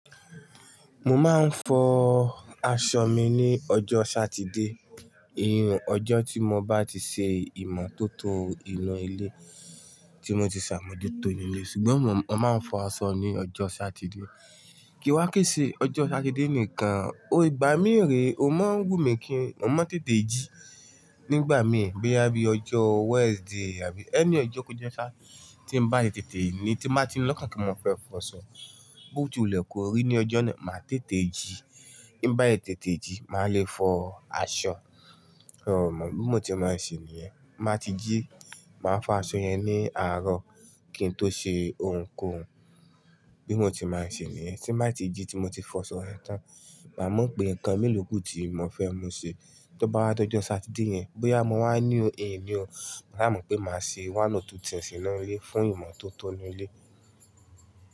Mo máa ń fọ aṣọ mi ní ọjọ́ Sátidé, ìyun ọjọ́ tí mo bá ti ṣe ìmọ́tótó inú ilé tí mo ti ṣàmójútó inú ilé, ṣùgbọ́n mo máa ń fọ aṣọ ní ọjọ́ Sátidé. Kì wá kì í ṣe ọjọ́ Sátidé nìkan, ìgbà mí rẹ̀ ò mọ́ n wù mí kí n, mo máa ń tètè jí nígbà mì, bíi bá yẹni ọjọ́ Wednesday àbí ẹni ọjọ́ ko jẹ́ ṣá tí n bá yẹn tètè ní tí máa ti lọ́kàn kí n máa fẹ́ fọ aṣọ, bó ti ò lè kọrí ní ọjọ́ náà, màá tètè jí. Ní bá yẹn tètè jí, màá le fọ aṣọ. Hmm bí mo ti máa ń ṣe níyẹn. Máa ti jí, màá fọ aṣọ yẹn ní àárọ̀ kíi n tó ṣe ohunkóhun. Bí mo ti máa ń ṣe níyẹn. Tí n bá ti jí tí mo ti fọ aṣọ yẹn tán, màá mọ̀ pé nǹkan míì ló kù tí mo fẹ́ mu ṣe. Tí ọ bá dọjọ Sátidé yẹn, bí àmọ́ wá ní ìní o, màá mọ̀ pé màá ṣe one or two things fún ìmọ́tótó inú ilé.